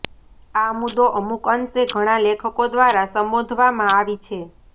આ મુદ્દો અમુક અંશે ઘણા લેખકો દ્વારા સંબોધવામાં આવી છે